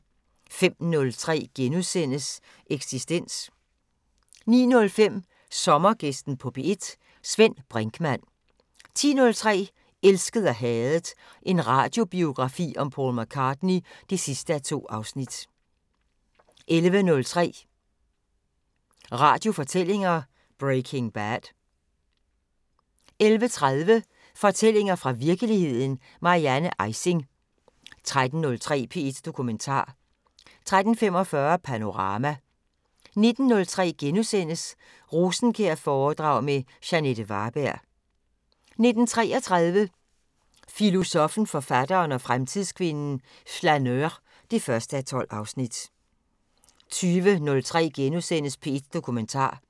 05:03: Eksistens * 09:05: Sommergæsten på P1: Svend Brinkmann 10:03: Elsket og hadet – en radiobiografi om Paul McCartney (2:2) 11:03: Radiofortællinger: Breaking Bad 11:30: Fortællinger fra virkeligheden – Marianne Ejsing 13:03: P1 Dokumentar 13:45: Panorama 19:03: Rosenkjær-foredrag med Jeanette Varberg (1:6)* 19:33: Filosoffen, forfatteren og fremtidskvinden: Flaneur (1:12) 20:03: P1 Dokumentar *